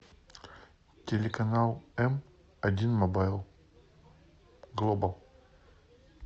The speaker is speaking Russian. телеканал эм один мобайл глобал